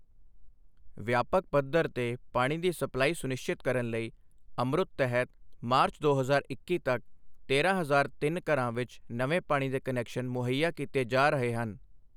ਵਿਆਪਕ ਪਧੱਰ ਤੇ ਪਾਣੀ ਦੀ ਸਪਲਾਈ ਸੁਨਿਸ਼ਚਿਤ ਕਰਨ ਲਈ ਅਮਰੁਤ ਤਹਿਤ ਮਾਰਚ ਦੋ ਹਜ਼ਾਰ ਇੱਕੀ ਤੱਕ ਤੇਰਾਂ ਹਜ਼ਾਰ ਤਿੰਨ ਘਰਾਂ ਵਿੱਚ ਨਵੇਂ ਪਾਣੀ ਦੇ ਕਨੈਕਸ਼ਨ ਮੁਹੱਈਆ ਕੀਤੇ ਜਾ ਰਹੇ ਹਨ।